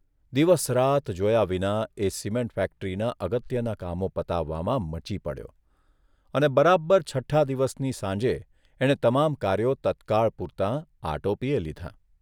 દિવસ રાત જોયા વિના એ સિમેન્ટ ફેક્ટરીનાં અગત્યનાં કામો પતાવવામાં મચી પડ્યો અને બરાબર છઠ્ઠા દિવસની સાંજે એણે તમામ કાર્યો તત્કાળ પૂરતાં આટોપીયે લીધાં.